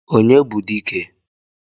onye bu dike?